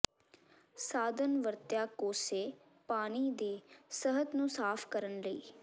ਸਾਧਨ ਵਰਤਿਆ ਕੋਸੇ ਪਾਣੀ ਦੇ ਸਤਹ ਨੂੰ ਸਾਫ਼ ਕਰਨ ਲਈ